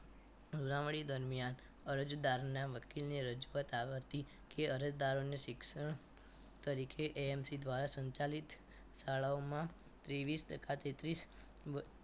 સુનાવણી દરમિયાન અરજદાર ના વકીલને રજૂઆત આવતી કે અરજદાર શિક્ષણ તરીકે AAMC દ્વારા સંચાલિત શાળાઓમાં ત્રેવીસ ટકા થી ત્રીસ